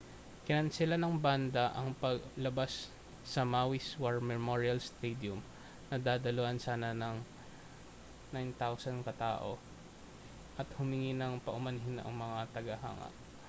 kinansela ng banda ang palabas sa maui's war memorial stadium na dadaluhan sana ng 9,000 katao at humingi ng paumanhin sa mga tagahanga